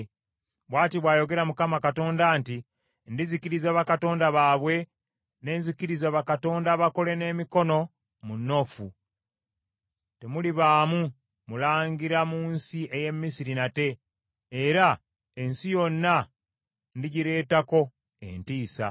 “ ‘Bw’ati bw’ayogera Mukama Katonda nti, “ ‘Ndizikiriza bakatonda baabwe ne nzikiriza bakatonda abakole n’emikono mu Noofu. Temulibaamu mulangira mu nsi ey’e Misiri nate, era ensi yonna ndigireetako entiisa.